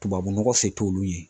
Tubabu nɔgɔ se t'olu ye.